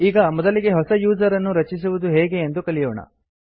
ಈಗ ಮೊದಲಿಗೆ ಹೊಸ ಯೂಸರ್ ಅನ್ನು ರಚಿಸುವುದು ಹೇಗೆ ಎಂದು ಕಲಿಯೋಣ